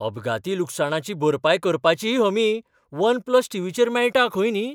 अपघाती लुकसाणाची भरपाय करपाचीय हमी वन प्लस टीव्हीचेर मेळटा खंय न्ही!